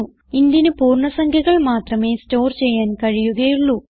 intന് പൂർണ്ണ സംഖ്യകൾ മാത്രമേ സ്റ്റോർ ചെയ്യാൻ കഴിയുകയുള്ളൂ